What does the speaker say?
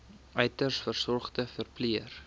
uiters gesogde verpleër